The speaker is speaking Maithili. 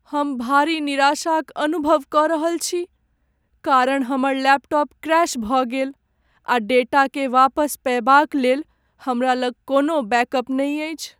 हम भारी निराशाक अनुभव कऽ रहल छी कारण हमर लैपटॉप क्रैश भऽ गेल आ डेटाकेँ वापस पयबाक लेल हमरा लग कोनो बैकअप नहि अछि।